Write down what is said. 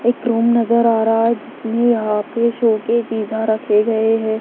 एक रूम नजर आ रहा है जिसमें यहां पे शो के चीजा रखे गए है।